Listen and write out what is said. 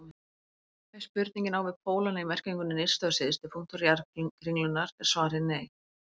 Ef spurningin á við pólana í merkingunni nyrsti og syðsti punktur jarðkringlunnar er svarið nei.